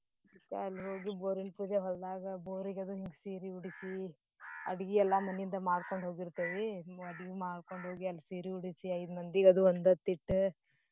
ಅದ್ಕ ಅಲ್ಹೋಗಿ ಬೋರಿನ್ ಪೂಜೆ ಹೋಲ್ದಾಗ ಬೋರ್ ಅದು ಹಿಂಗ ಸೀರಿ ಉಡ್ಸಿ ಅಡ್ಗಿ ಎಲ್ಲಾ ಮನಿಂದಾ ಮಾಡ್ಕೋಂಡ್ಹೋಗಿರ್ತೇವಿ. ಮಾಡ್ಕೋಂಡ್ಹೋಗಿ ಅಲ್ ಸೀರಿ ಉಡ್ಸಿ ಐದ್ಮಂದಿಗದು ಒನ್ದೊತ್ತ ಇಟ್ಟ.